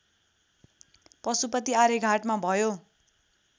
पशुपति आर्यघाटमा भयो